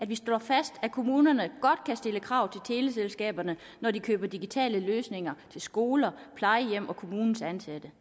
vi slår fast at kommunerne godt kan stille krav til teleselskaberne når de køber digitale løsninger til skoler plejehjem og kommunens ansatte